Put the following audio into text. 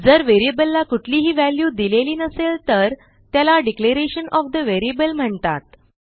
जर व्हेरिएबलला कुठलीही व्हॅल्यू दिलेली नसेल तर त्याला डिक्लेरेशन ओएफ ठे व्हेरिएबल म्हणतात